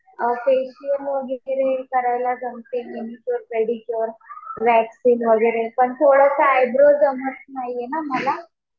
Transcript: Facial वगैरे करायला जमते. मेडिक्युअर, पेडिक्युअर, वॅक्सिन्ग वगैरे. पण थोडंसं आयब्रो जमत नाहीये ना मला.